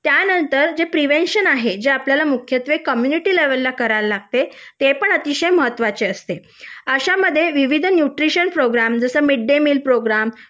त्यानंतर जे प्रिव्हेन्शन आहे ते आपण मुख्यत्वे कम्युनिटी लेवलला करावे लागते ते पण अतिशय महत्त्वाचे असते आशा मध्ये विविध न्यूट्रिशन प्रोग्राम जसं मिड डे मिल प्रोग्रॅम